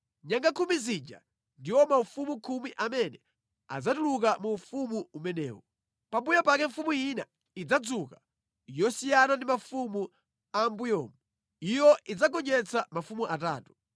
Nyanga khumi zija ndiwo mafumu khumi amene adzatuluka mu ufumu umenewu. Pambuyo pake mfumu ina idzadzuka, yosiyana ndi mafumu a mʼmbuyomu; iyo idzagonjetsa mafumu atatu.